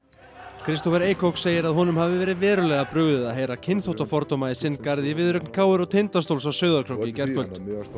Kristófer segir að honum hafi verið verulega brugðið að heyra kynþáttafordóma í sinn garð í viðureign k r og Tindastóls á Sauðárkróki í gærkvöld